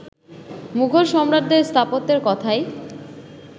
মুঘল সম্রাটদের স্থাপত্যের কথাই